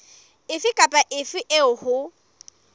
efe kapa efe eo ho